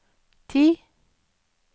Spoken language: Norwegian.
ti